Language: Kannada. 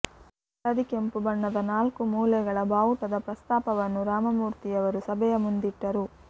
ಹಳದಿ ಕೆಂಪು ಬಣ್ಣದ ನಾಲ್ಕುಮೂಲೆಗಳ ಬಾವುಟದ ಪ್ರಸ್ತಾಪವನ್ನು ರಾಮಮೂರ್ತಿಯವರು ಸಭೆಯ ಮುಂದಿಟ್ಟರು